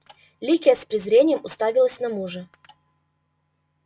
ликия с презрением уставилась на мужа